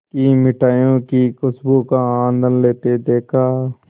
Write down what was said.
की मिठाइयों की खूशबू का आनंद लेते देखा